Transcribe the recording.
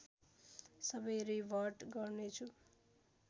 सबै रिभर्ट गर्नेछु